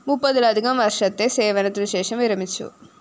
മുപ്പതിലധികം വര്‍ഷത്തെ സേവനത്തിനുശേഷം വിരമിച്ചു